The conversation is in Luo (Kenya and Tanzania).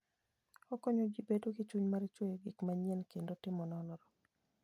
Okonyo ji bedo gi chuny mar chweyo gik manyien kendo timo nonro.